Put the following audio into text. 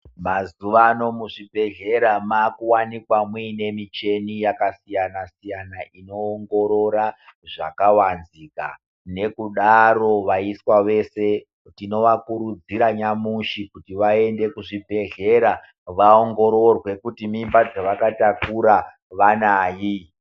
Mazuvano muzvibhedhleya makuwanikwa muine michini yakasiyana siyana inoongorora zvakavanzika, nekudaro vaiswa vese tinovakurudzire nyamushi kuti vaende kuzvibhedhleya vaongororwe kuti mimba dzavakatakura vanai.